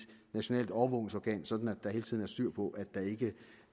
nationalt overvågningsorgan sådan at der hele tiden er styr på at det ikke